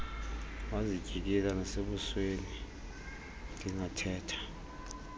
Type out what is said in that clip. wazityikila nasebusweni ndingathetha